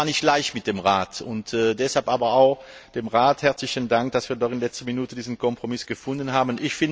Es war nicht leicht mit dem Rat, deshalb auch dem Rat herzlichen Dank, dass wir doch in letzter Minute diesen Kompromiss gefunden haben.